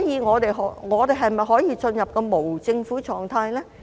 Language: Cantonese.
我們可否進入無政府狀態？